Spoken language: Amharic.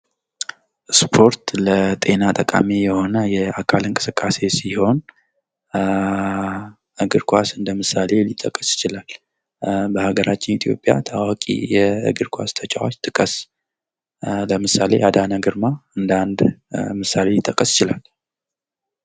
ስፖርት ለጤና ጠቃሚ የሆነ የአካል እንቅስቃሴ ሲሆን እግር ኳስ እንደምሳሌ ሊጠቀስ ይችላል። በሀገራችን ኢትዮጵያ ታዋቂ የእግር ኳስ ተጫዋች ጥቀስ? ለምሳሌ አዳነ ግርማ እንደ አንድ ምሳሌ ሊጠቀስ ይችላል።